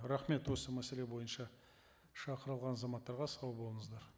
рахмет осы мәселе бойынша шақырылған азаматтарға сау болыңыздар